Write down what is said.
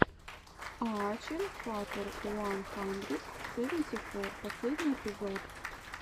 аачен фатер уан хандрид севенти фор последний эпизод